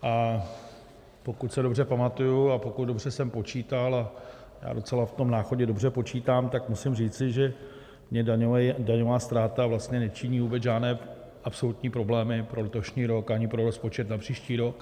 A pokud se dobře pamatuji a pokud dobře jsem počítal, a já docela v tom Náchodě dobře počítám, tak musím říci, že mně daňová ztráta vlastně nečiní vůbec žádné absolutní problémy pro letošní rok ani pro rozpočet na příští rok.